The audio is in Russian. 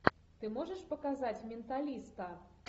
ты можешь показать менталиста